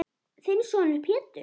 Þinn sonur, Pétur.